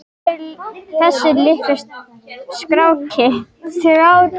Hver er þessi litli skratti?